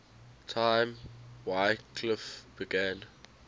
time wycliffe began